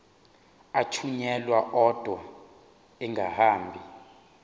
athunyelwa odwa angahambi